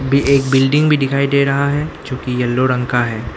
भी एक बिल्डिंग भी दिखाई दे रहा है जो कि येलो रंग का है।